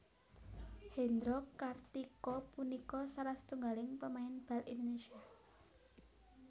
Hendro Kartiko punika salah setunggaling pemain bal Indonésia